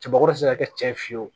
Cɛbakɔrɔ be se ka kɛ cɛ ye fiyewu